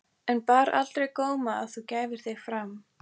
En bar aldrei á góma að þú gæfir þig fram?